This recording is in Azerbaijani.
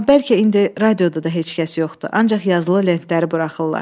Amma bəlkə indi radioda da heç kəs yoxdur, ancaq yazılı lentləri buraxırlar.